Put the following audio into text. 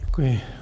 Děkuji.